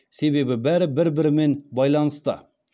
себебі бәрі бір бірімен байланысты